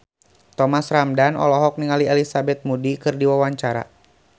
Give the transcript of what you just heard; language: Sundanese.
Thomas Ramdhan olohok ningali Elizabeth Moody keur diwawancara